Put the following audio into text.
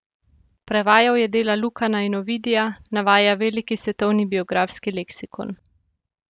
Prevajal je dela Lukana in Ovidija, navaja Veliki svetovni biografski leksikon.